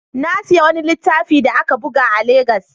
Na sayi wani littafi da aka buga a Legas.